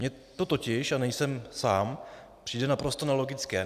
Mně to totiž, a nejsem sám, přijde naprosto nelogické.